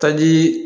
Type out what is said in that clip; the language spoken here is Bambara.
Ka ji